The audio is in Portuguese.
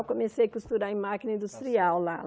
Eu comecei a costurar em máquina industrial lá.